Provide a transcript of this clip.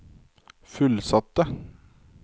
fullsatte